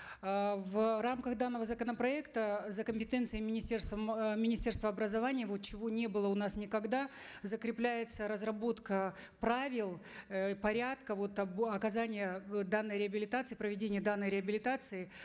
э в рамках данного законопроекта за компетенцией министерства м э министерства образования вот чего не было у нас никогда закрепляется разработка правил э порядка вот оказания э данной реабилитации проведения данной реабилитации